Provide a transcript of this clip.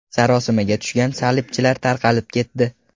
Sarosimaga tushgan salibchilar tarqalib ketdi.